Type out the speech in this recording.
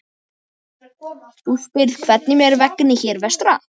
Þú spyrð hvernig mér vegni hér vestra.